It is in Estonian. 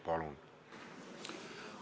Palun!